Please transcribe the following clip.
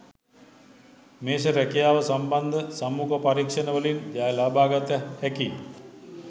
මේෂ රැකියාව සම්බන්ධ සම්මුඛ පරීක්ෂණවලින් ජය ලබාගත හැකි